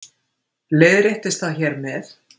Leiðréttist það hér með